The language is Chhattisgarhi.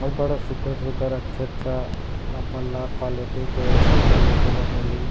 अऊ बड़ा सुघघर-सुघघर अच्छा-अच्छा आप मन ल क्वालिटी के साइकिल देखे ल मिलही--